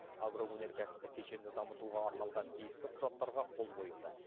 агроөнеркәсіптік кешенді дамытуға арналған тиісті құжаттарға қол қойылды